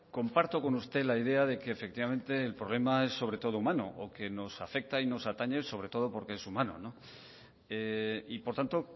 comparto con usted la idea de que efectivamente el problema es sobre todo humano o que nos afecta y atañe sobre todo porque es humano no y por tanto